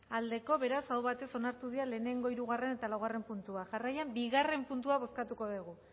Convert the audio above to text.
aldekoa beraz aho batez onartu dira lehenengo hirugarren eta laugarren puntuak jarraian bigarren puntua bozkatuko dugu